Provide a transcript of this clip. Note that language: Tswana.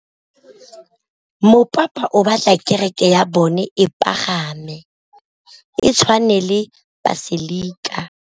Mopapa o batla kereke ya bone e pagame, e tshwane le paselika.